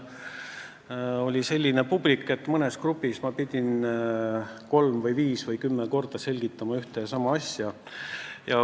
Seal oli selline publik, et mõnes grupis ma pidin kolm, viis või kümme korda ühte ja sama asja selgitama.